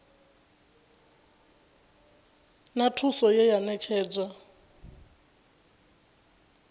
na thuso ye ya ṋetshedzwa